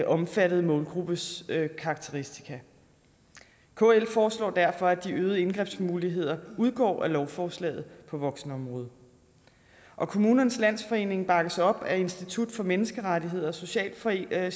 omfattede målgruppes karakteristika kl foreslår derfor at de øgede indgrebsmuligheder udgår af lovforslaget på voksenområdet og kommunernes landsforening bakkes op af institut for menneskerettigheder og socialchefforeningen